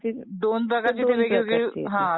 हां दोन प्रकारची येते.